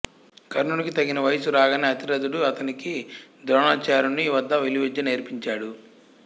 కర్ణునికి తగిన వయస్సు రాగానే అతిరధుడు అతనికి ద్రోణాచార్యుని వద్ద విలువిద్య నేర్పించాడు